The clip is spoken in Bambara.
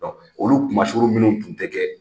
Olu kuma suru minnu kun ti kɛ